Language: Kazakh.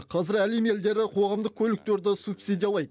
қазір әлем елдері қоғамдық көліктерді субсидиялайды